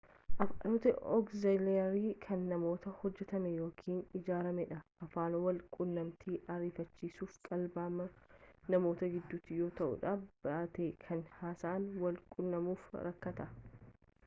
afaanotni ogzilaarii kan namaan hojjetamee yookiin ijaarame dha afaan wal qunnamtii ariifachiisuf kalaqamaan namoota giddutii yoo ta'uudha baate kan haasaan wal qunnamuuf rakkatan